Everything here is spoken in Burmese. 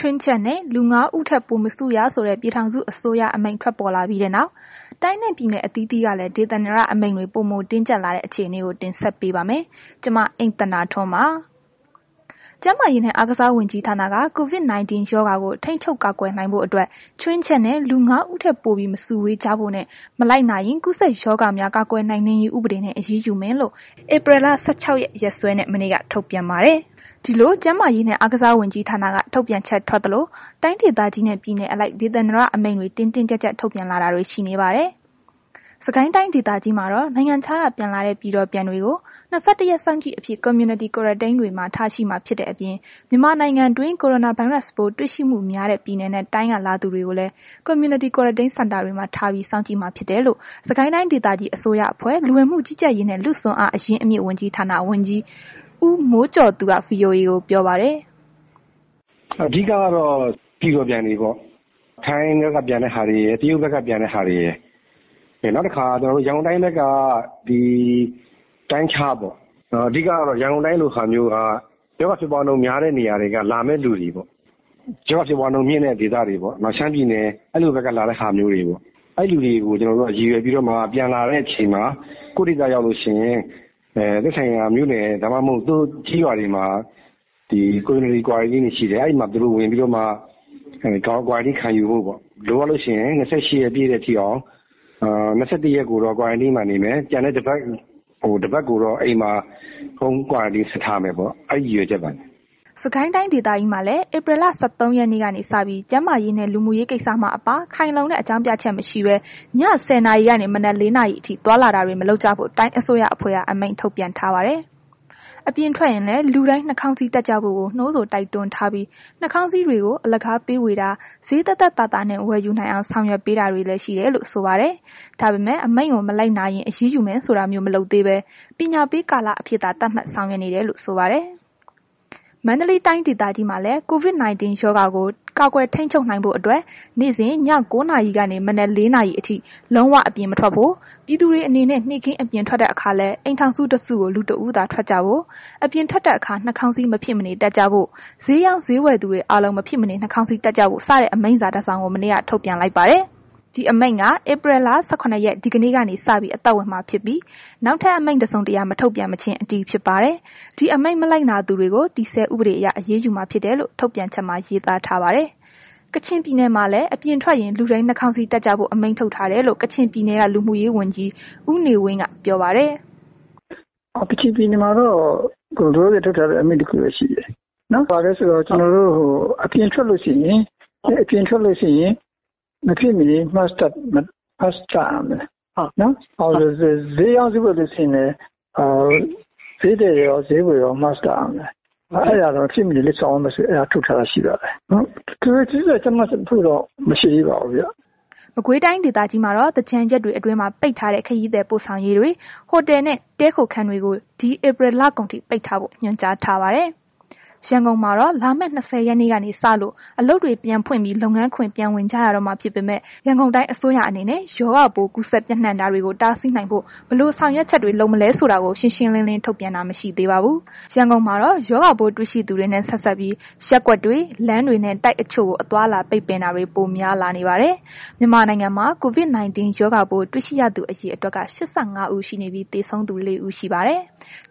ွင်းချက်နဲ့ လူ ၅ ဦးပို မစုရဆိုတဲ့ ပြည်ထောင်စုအစိုးရအမိန့်ပေါ်ထွက်လာပြီးနောက် တိုင်းနဲ့ ပြည်နယ်အစိုးရအသီးသီးကလည်း ဒေသန္တရအမိန့်တွေ ပိုတင်းကြပ်လာတဲ့အခြေအနေကို ဗွီအိုအေမြန်မာပိုင်း သတင်းထောက် မအိမ့်သန္တာထွန်းက တင်ဆက်ပေးပါမယ်။ ကျန်းမာရေးနှင့် အားကစားဝန်ကြီးဌာနက COVID-19 ရောဂါကို ထိန်းချုပ်ကာကွယ်နိုင်ဖို့အတွက် ခြွင်းချက်နဲ့ လူ ၅ ဦးထက် ပိုပြီး မစုဝေးကြဖို့နဲ့ မလိုက်နာရင် ကူးစက်ရောဂါများကာကွယ်နှိမ်နင်းရေးဥပဒေနဲ့ အရေးယူမယ်လို့ ဧပြီလ ၁၆ ရက် ရက်စွဲနဲ့ မနေ့က ထုတ်ပြန်ပါတယ်။ ဒီလို ကျန်းမာရေးနှင့် အားကစားဝန်ကြီးဌာနက ထုတ်ပြန်ချက် ထွက်သလို တိုင်းဒေသကြီးနှင့် ပြည်နယ်အလိုက် ဒေသန္တရ အမိန့်တွေ တင်းတင်းကြပ်ကြပ် ထုတ်ပြန်လာတာတွေ ရှိပါတယ်။ စစ်ကိုင်းတိုင်းဒေသကြီးမှာတော့ နိုင်ငံခြားက ပြန်လာတဲ့ ပြည်တော်ပြန်တွေကို ၂၁ ရက် စောင်ကြည့်အဖြစ် Community Quarantine တွေမှာ ထားရှိမှာ ဖြစ်တဲ့အပြင် မြန်မာနိုင်ငံတွင်း ကိုရိုနာဗိုင်းရပ်စ်ပိုး တွေ့ရှိမှုများတဲ့ ပြည်နယ်နှင့် တိုင်းက လာသူတွေကိုလည်း Community Quarantine Center တွေမှာ ထားပြီး စောင့်ကြည့်မှာ ဖြစ်တယ်လို့ စစ်ကိုင်းတိုင်းဒေသကြီးအစိုးရအဖွဲ့ လူဝင်မှုကြီးကြပ်ရေးနှင့် လူ့စွမ်းအားအရင်းအမြစ် ဝန်ကြီးဌာန ဝန်ကြီး ဦးမိုးကျော်သူက ဗွီအိုအေကို ပြောပါတယ်။ “အဓိကကတော့ ပြည်တော်ပြန်တွေပေါ့။ ထိုင်းဘက်က ပြန်တဲ့ ဟာတွေရယ်၊ တရုတ်ဘက်က ပြန်တဲ့ဟာတွေရယ်၊ နောက်တစ်ခါ ဒီ ရန်ကုန်တိုင်းဘက်က တိုင်းခြားပေ့ါ၊ အဓိကက ရန်ကုန်တိုင်းလို ဟာမျိုးက ရောဂါဖြစ်ပွားမှုနှုန်း များတဲ့ နေရာက လာမယ့် သူတွေပေါ့၊ ရောဂါဖြစ်ပွားနှုန်းမြင့်တဲ့ နေရာက လာတဲ့သူတွေ ဥပမာ ရှမ်းပြည်နယ် အဲ့လိုဘက်က လာတဲ့ဟာမျိုးတွေပေါ့။ အဲ့လူတွေကို ရည်ရွယ်ပြီးတော့မှ ကျနော်တို့ ပြန်လာတဲ့ အခါ ကိုယ့်ဒေသပြန်ရောက်လို့ရှိရင် သက်ဆိုင်ရာမြို့နယ် ဒါမှမဟုတ် ကျေးရွာတွေမှာ Community Quarantine တွေ ရှိတယ်။ သူတို့ အဲမှာ Quarantine ခံယူဖို့ပေါ့၊ လိုအပ်လို့ရှိရင် ၂၈ ရက် ပြည့်အောင် ၂၁ ရက်ကိုတော့ Quarantine Center တွေမှာ နေမယ်၊ တစ်ပတ်ကိုတော့ အိမ်မှာ Home Quarantine ဆက်ထားမယ်ပေါ့။ အဲ့ရည်ရွယ်ချက်ပါ။” စစ်ကိုင်းတိုင်းဒေသကြီးမှာလည်း ဧပြီလ ၁၃ ရက်နေ့ကနေစပြီး ကျန်းမာရေး၊ လူမှုရေးကိစ္စမှအပ ခိုင်လုံတဲ့ အကြောင်းပြချက် မရှိဘဲ ည ၁၀ နာရီကနေ မနက် ၄ နာရီအထိ သွားလာတာတွေ မလုပ်ကြဖို့ တိုင်းအစိုးရအဖွဲ့က အမိန့်ထုတ်ပြန်ထားပါတယ်။ အပြင်ထွက်ရင် လူတိုင်း နှာခေါင်းစည်းတပ်ကြဖို့ကိုလည်း နှိုးဆော် တိုက်တွန်းထားပြီး နှာခေါင်းစည်းတွေကို အလကားဝေပေးတာ ဈေးသက်သက်သာသာနှင့် ဝယ်ယူနိုင်အောင် ဆောင်ရွက်ပေးထားတယ်လို့လည်း ဆိုပါတယ်။ ဒါပေမဲ့ အမိန့်ကို မလိုက်နာရင် အရေးယူမယ်ဆိုတာမျိုး မလုပ်သေးဘဲ ပညာပေးကာလအဖြစ်သာ သတ်မှတ်ဆောင်ရွက် နေတယ်လို့ ဆိုပါတယ်။ မန္တလေးတိုင်း ဒေသကြီးမှာလည်း COVID-19 ရောဂါကို ကာကွယ်ထိန်းချုပ်နိုင်ဖို့အတွက် နေ့စဉ် ည ၉ နာရီကနေ မနက် ၄ နာရီအထိ လုံးဝ အပြင်မထွက်ဖို့ ပြည်သူတွေအနေနဲ့ နေ့ခင်း အပြင်ထွက်တဲ့အခါလည်း အိမထောင်စု တစုကို လူတစ်ဦးသာထွက်ကြဖို့ အပြင်ထွကတဲ့အခါ နှာခေါင်းစည်း မဖြစ်မနေ တပ်ကြဖို့ ဈေးရောင်း ဈေးတယ်သူတွေအားလုံး မဖြစ်မနေ နှာခေါင်းစည်းတပ်ကြဖို့စတဲ့ အမိန့်စာ တစ်စောင်ကို မနေ့က ထုတ်ပြန်လိုက်ပါတယ်။ ဒီအမိန့်က ဧပြီလ ၁၇ ရက်နေ့ ဒိကနေ့ကစ အသက်ဝင်မှာဖြစ်ပြီး နောက်ထပ်အမိန့်တစ်စုံတစ်ရာ မထုတ်ပြန်မချင်း အတည်ဖြစ်ပါတယ်။ ဒီအမိန့် မလိုက်နာသူတွေကို တည်ဆဲဥပဒေအရ အရေးယူမှာဖြစ်ထယ်လို့ ထုတ်ပြန်ချက်မှာ ရေးသားထားပါတယ်။ ကချင်ပြည်နယ်မှာလည်း အပြင်ထွက်ရင်လူတိုင်း နှာခေါင်းစည်းတပ်ကြဖို့ အမိန့်ထုတ်ထားတယ်လို့ ကချင်ပြည်နယ်က လူမှုရေးဝန်ကြီး ဦးနေဝင်းက ပြောပါတယ်။ “ကချင်ပြည်နယ်မှာတော့ လောလောဆယ် ထုတ်ထားတဲ အမိန့်တစ်ခုပဲ ရှိသေးတယ်။ ဘာလဲဆိုတော့ ကျနော်တို့ အပြင်ထွက်လို့ရှိရင် မဖြစ်မနေ Mask တပ်ရမယ်။ ဈေးရောင်းဈေးဝယ်ဆိုလို့ရှိရင်လည်း ဈေးရောင်းရော၊ ဈေးဝယ်ရော Mask တပ်ရမယ်။ အဲ့ဒါတော့ မဖြစ်မနေ ဆောင်ရွက်ရမယ် ဆိုပြီး ထုတ်ထားတာရှိပါတယ်။ ထွေထွေထူးထူး ကြပ်မတ်ဖို့တော့ မရှိသေးပါဘူး။” မကွေတိုင်းဒေသကြီးမှာတော့ သင်္ကြန်ရက်တွေအတွင်းမှာ ပိတ်ထားတဲ့ ခရီးသည်ပို့ဆောင်ရေးတွေ၊ ဟိုတယ်နှင့်တည်းခိုခန်းတွေကို ဒီ ဧပြီ လကုန်ထိ ပိတ်ထားဖို့ ညွှန်ကြားထားပါတယ်။ ရန်ကုန်မှာတော့ လာမယ့် ၂၀ ရက်နေ့ကစလို့ အလုပ်တွေပြန်ဖွင့်ပြီး လုပ်ငန်းခွင် ပြန်ဝင်ကြရတော့မှာ ဖြစ်ပေမဲ့ ရန်ကုန်တိုင်းအစိုးရအနေနဲ့ ရောဂါပို ကူးစက်ပျံ့နှံ့တာတွေကို တားဆီးနိုင်ဖို့ ဘယ်လို ဆောင်ရွက်ချက်တွေ လုပ်မလဲဆိုတာကို ရှင်းရှင်းလင်းလင်း ထုတ်ပြန်တာမရှိသေးပါဘူး။ ရန်ကုန်မှာတော့ ရောဂါပိုးတွေ့ရှိသူတွေနဲ့ ဆက်စပ်ပြီး ရပ်ကွက်တွေ၊ လမ်းတွေနှင့် တိုက်အချို့ကို အသွားအလာပိတ်ပင်တာတွေ ပိုများလာနေပါတယ်။ မြန်မာနိုင်ငံမှာ COVID-19 ရောဂါပိုး တွေ့ရှိရသူ အရေအတွက်က ၈၅ ဦး ရှိနေပြီး သေဆုံးသူ ၄ ဦး ရှိပါတယ်။